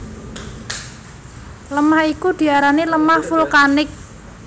Lemah iku diarani lemah vulkanik